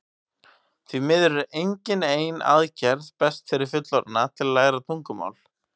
því miður er engin ein aðferð best fyrir fullorðna til að læra tungumál